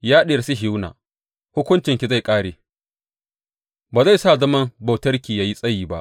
Ya Diyar Sihiyona, hukuncinki zai ƙare; ba zai sa zaman bautarki yă yi tsayi ba.